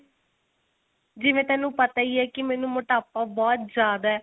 ਜਿਵੇਂ ਤੇਨੂੰ ਪਤਾ ਈ ਏ ਕੀ ਮੈਂਨੂੰ ਮੋਟਾਪਾ ਬਹੁਤ ਜਿਆਦਾ